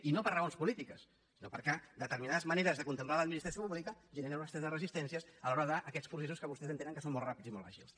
i no per raons polítiques sinó perquè determinades maneres de contemplar l’administració pública generen una sèrie de resistències a l’hora d’aquests processos que vostès entenen que són molt ràpids i molt àgils